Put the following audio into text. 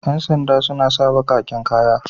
Ƴan snda suna sa baƙaƙen kaya.